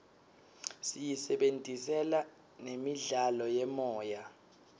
siyisebentisela nemidlalo yemoya